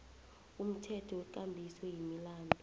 umthetho wekambiso yemilandu